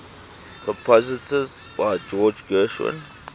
compositions by george gershwin